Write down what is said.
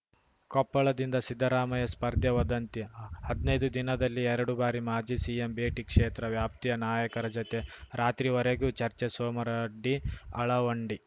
ಕೊಪ್ಪಳದಿಂದ ಸಿದ್ದರಾಮಯ್ಯ ಸ್ಪರ್ಧೆ ವದಂತಿ ಹದ್ನೈದು ದಿನದಲ್ಲಿ ಎರಡು ಬಾರಿ ಮಾಜಿ ಸಿಎಂ ಭೇಟಿ ಕ್ಷೇತ್ರ ವ್ಯಾಪ್ತಿಯ ನಾಯಕರ ಜೊತೆ ರಾತ್ರಿವರೆಗೂ ಚರ್ಚೆ ಸೋಮರಡ್ಡಿ ಅಳವಂಡಿ